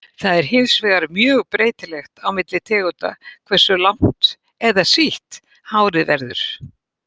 Það er hins vegar mjög breytilegt á milli tegunda hversu langt eða sítt hárið verður.